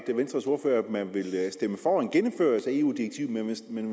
man vil stemme for en gennemførelse af eu direktivet men